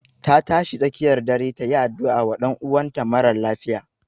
Ta tashi tsakiyar dare ta yi addu'a wa ɗan'uwan ta marar lafiya